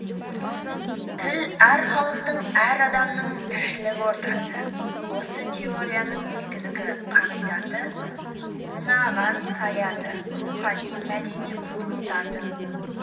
тіл әр халықтың әр адамның тіршілік ортасы осы теорияның негізгі қағидаты мынаған саяды рухани мәдени құндылықтардың